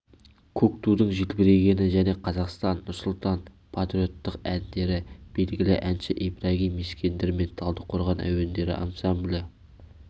көк тудың желбірегені және қазақстан нұрсұлтан патриоттық әндері белгілі әнші ибрагим ескендір мен талдықорған әуендері ансамблі